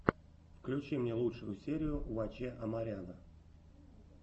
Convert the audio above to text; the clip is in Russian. включи мне лучшую серию ваче амаряна